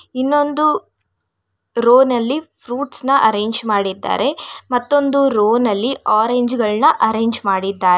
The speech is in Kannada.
ಇನ್ನೊಂದು ರೋ ನಲ್ಲಿ ಫ್ರೂಟ್ಸ್ ನ ಅರೇಂಜ್ ಮಾಡಿದ್ದಾರೆ ಮತ್ತೊಂದು ರೋ ನಲ್ಲಿ ಆರೆಂಜ್ ಗಳನ್ನ ಆರೆಂಜ್ ಮಾಡಿದ್ದಾರೆ.